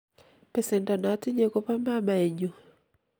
besendo notinye ko bo mamae nyu.